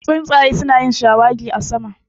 Tsuntsaye su na yin shawagi a sama